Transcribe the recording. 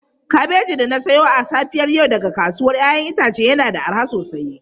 Kabeji da na sayo a safiyar yau daga kasuwar 'ya'yan itace yana da arha sosai.